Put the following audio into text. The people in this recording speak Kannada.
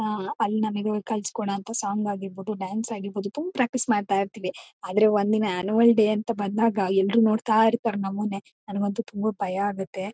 ಅಹ್ ಅಲ್ಲಿ ನಮಗೆ ಕಳ್ಸಿಕೊಡ ಸಾಂಗ್ ಆಗಿರಬಹುದು ಡಾನ್ಸ್ ಆಗಿರಬಹುದು ತುಂಬ ಪ್ರಾಕ್ಟೀಸ್ ಮಾಡ್ತಾ ಇರ್ತಿವಿ ಆದ್ರೆ ಒಂದ್ ದಿನ ಅನುಯಲ್ ಡೇ ಅಂತ ಬಂದಾಗ ಎಲ್ರು ನೋಡತಾ ಇರ್ತರೆ ನಮ್ಮನೆ ನನಗಂತೂ ತುಂಬ ಭಯ ಆಗುತ್ತೆ.